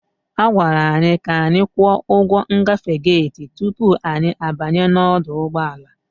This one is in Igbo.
A gwara anyị ka anyị kwụọ ụgwọ ngafe gate tupu anyị abanye n'ọdụ ụgbọ ala.